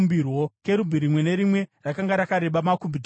Kerubhi rimwe nerimwe rakanga rakareba makubhiti gumi.